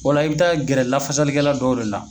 O la i bɛ taa gɛrɛ lafasali kɛla dɔw de la.